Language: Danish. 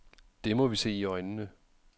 Det må vi se i øjnene.